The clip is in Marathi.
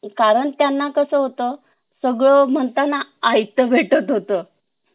कारण त्यांना कस होत सगळं म्हणताना आईत भेटत होत